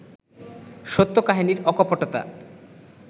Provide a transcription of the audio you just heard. সত্য কাহিনির অকপটতা